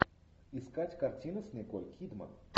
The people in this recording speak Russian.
искать картину с николь кидман